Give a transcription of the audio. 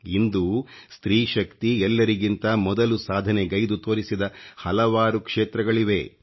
ಇಂದು ಸ್ತ್ರೀ ಶಕ್ತಿ ಎಲ್ಲರಿಗಿಂತ ಮೊದಲು ಸಾಧನೆಗೈದು ತೋರಿಸಿದ ಹಲವಾರು ಕ್ಷೇತ್ರಗಳಿವೆ